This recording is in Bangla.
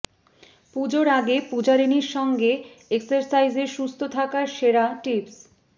পুজোর আগে পূজারিনীর সঙ্গে এক্সারসাইজে সুস্থ থাকার সেরা টিপস